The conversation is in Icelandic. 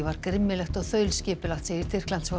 var grimmilegt og þaulskipulagt segir